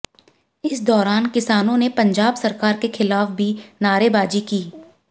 इस दौरान किसानों ने पंजाब सरकार के खिलाफ भी नारेबाजी की